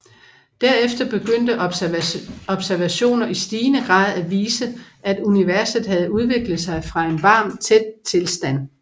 Derefter begyndte observationer i stigende grad at vise at universet havde udviklet sig fra en varm tæt tilstand